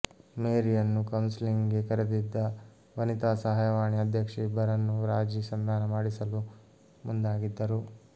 ಮೇರಿಯನ್ನು counselling ಗೆ ಕರೆದಿದ್ದ ವನಿತಾ ಸಹಾಯವಾಣಿ ಅಧ್ಯಕ್ಷೆ ಇಬ್ಬರನ್ನೂ ರಾಜಿ ಸಂಧಾನ ಮಾಡಿಸಲು ಮುಂದಾಗಿದ್ದರು